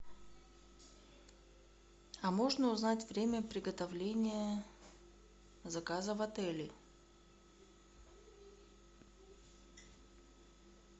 а можно узнать время приготовления заказа в отеле